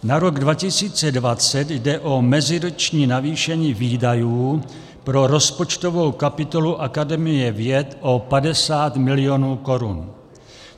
Na rok 2020 jde o meziroční navýšení výdajů pro rozpočtovou kapitolu Akademie věd o 50 mil. korun.